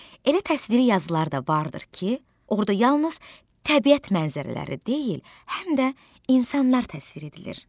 Elə təsviri yazılar da vardır ki, orda yalnız təbiət mənzərələri deyil, həm də insanlar təsvir edilir.